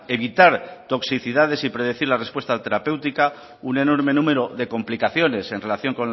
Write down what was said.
evitar toxicidades y predecir la respuesta terapéutica un enorme número de complicaciones en relación